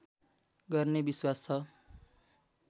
गर्ने विश्वास छ